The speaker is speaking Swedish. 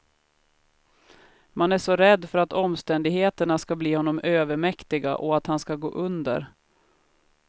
Man är så rädd för att omständigheterna ska bli honom övermäktiga och att han ska gå under.